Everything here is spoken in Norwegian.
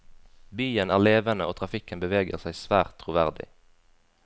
Byen er levende og trafikken beveger seg svært troverdig.